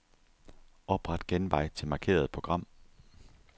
Opret genvej til markerede program.